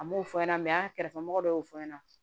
An m'o fɔ ɲɛna an kɛrɛfɛ mɔgɔ dɔw y'o fɔ ɲɛna